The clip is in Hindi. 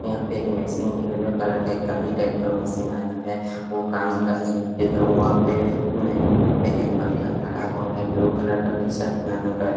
यहा पे एक मशीन हिल में पड़ा था एक गाड़ी टाइप का मशीन आया है यहा पे एक बंधा खड़ा हुआ है ब्लू कलर का टीसर्ट पहन रखा है।